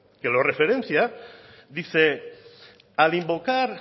que lo referencia dice al invocar